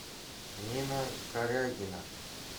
нина корягина